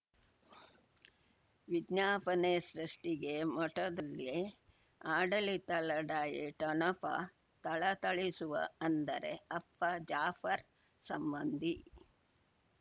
ವಿಜ್ಞಾಪನೆ ಸೃಷ್ಟಿಗೆ ಮಠದಲ್ಲಿ ಆಡಳಿತ ಲಢಾಯಿ ಠೊಣಪ ಥಳಥಳಿಸುವ ಅಂದರೆ ಅಪ್ಪ ಜಾಫರ್ ಸಂಬಂಧಿ